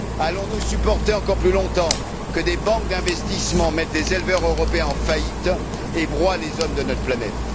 Allons nous supporter plus longtemps que des banques d'investissement mettent des éleveurs européens en faillite et broient les hommes de notre planète?